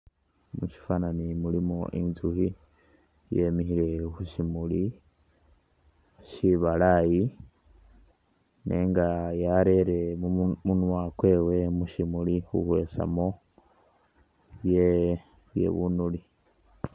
Mu shifwananyi mulimu Inzukhi yemikhile khu syimuli syibalaayi, nenga yarere munwa munwa kwewe mu shimuli khukwesamu bye bye bunule.